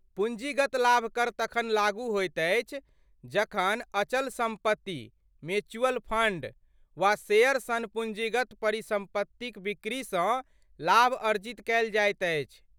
पूँजीगत लाभ कर तखन लागू होइत अछि जखन अचल सम्पत्ति, म्यूचुअल फंड, वा शेयर सन पूँजीगत परिसम्पत्तिक बिक्रीसँ लाभ अर्जित कयल जाइत अछि।